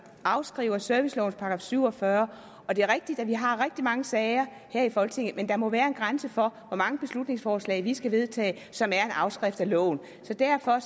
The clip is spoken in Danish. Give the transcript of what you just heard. afskrift af servicelovens § syv og fyrre og det er rigtigt at vi har rigtig mange sager her i folketinget men der må være en grænse for hvor mange beslutningsforslag vi skal vedtage som er en afskrift af loven så derfor